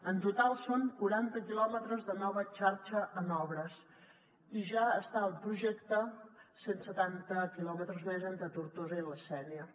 en total són quaranta quilòmetres de nova xarxa en obres i ja estan al projecte cent setanta quilòmetres més entre tortosa i la sénia